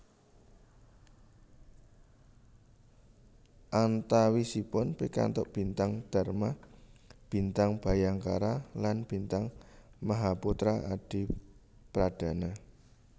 Antawisipun pikantuk Bintang Dharma Bintang Bhayangkara lan Bintang Mahaputra Adipradana